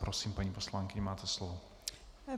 Prosím, paní poslankyně, máte slovo.